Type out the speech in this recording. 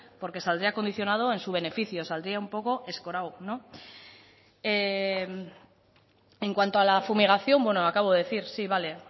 porque saldría condicionado a su beneficio saldría un poco escorado en cuanto a la fumigación bueno lo acabo de decir sí vale